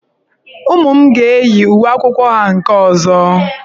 Ụmụ m ga-eyi uwe akwụkwọ ha nke ọzọ.